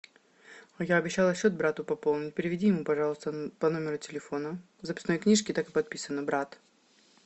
я обещала счет брату пополнить переведи ему пожалуйста по номеру телефона в записной книжке так и подписано брат